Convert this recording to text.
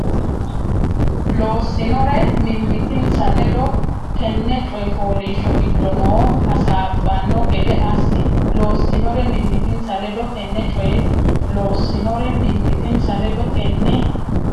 loossinore mimmitinsa ledo tenne coy fooliishsho giddo noo hasaabbanno gede assi loossinore mimmitinsa ledo tenne coy loossinore mimmitinsa ledo tenne.